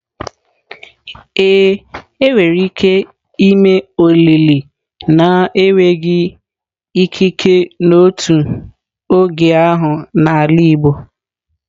Ee, enwere ike ime olili na-enweghị ikike n'otu oge ahụ n'ala igbo.